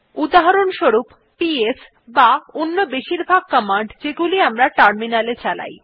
উদাহরণস্বরূপ পিএস বা অন্য বেশিরভাগ কমান্ড যেগুলি আমরা টার্মিনালে চালাই